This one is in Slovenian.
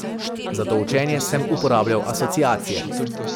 Za to učenje sem uporabljal asociacije.